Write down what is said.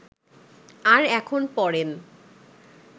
আর এখন পরেন